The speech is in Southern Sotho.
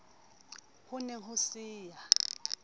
ho ne ho se ya